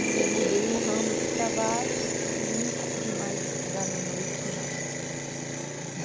E mudei o ramo de trabalho e não consegui mais estudar na noite, não.